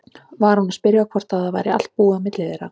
Var hún að spyrja hvort það væri allt búið á milli þeirra?